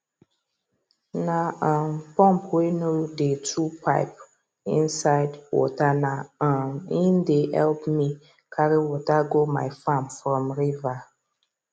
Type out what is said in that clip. na um pump wey no dey too pipe insids waterna um him dey help me carry water go my farm from river